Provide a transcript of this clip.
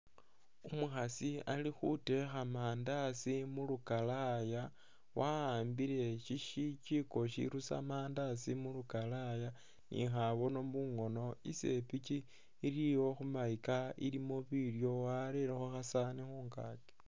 Umukhaasi ali khutekha mandasi mulukalaya wawambile shijiko shirusa mandasi mulukalaya ni khabono mungono isepichi iliwo khumayika ilimo bilyo warelekho khasaani khungaki